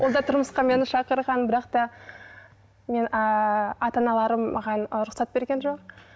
онда тұрмысқа мені шақырған бірақ та мен ыыы ата аналарым маған рұқсат берген жоқ